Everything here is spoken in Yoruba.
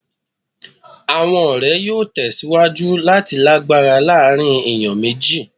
Awọn ọrẹ yoo tẹsiwaju lati lagbara laarin eniyan meji